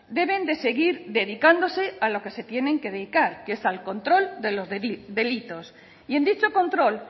deben de seguir dedicándose a lo que se tienen que dedicar que es al control de los delitos y en dicho control